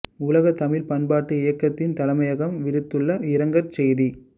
உலகத் தமிழ் பண்பாட்டு இயக்கத்தின் தலைமையகம் விடுத்துள்ள இரங்கற் செய்தி